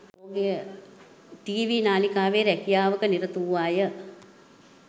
TV නාලිකාවේ රැකියාවක නිරත වූවාය